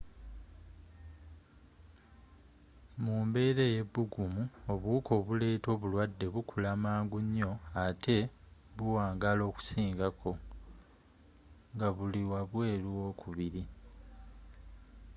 mu mbera eyebbugumu obuwuka obuleeta obulwadde bukula mangu nyo ate ne buwangala okusingako nga buli wabweru w'omubiri